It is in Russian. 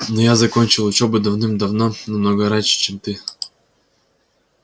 но я закончил учёбу давным-давно намного раньше чем ты